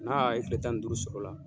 N'a a ye kile tan ni duuru sɔr'o la